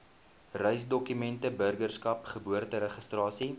reisdokumente burgerskap geboorteregistrasie